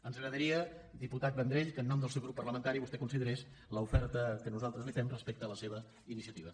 ens agradaria diputat vendrell que en nom del seu grup parlamentari vostè considerés l’oferta que nosaltres li fem respecte a la seva iniciativa